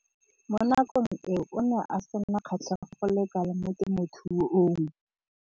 Mo nakong eo o ne a sena kgatlhego go le kalo mo temothuong.